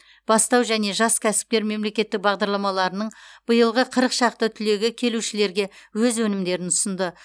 бастау және жас кәсіпкер мемлекеттік бағдарламаларының биылғы қырық шақты түлегі келушілерге өз өнімдерін ұсынды